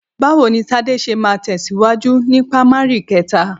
Báwo ni Tádé ṣe máa tẹ̀síwájú ni pamari kẹta?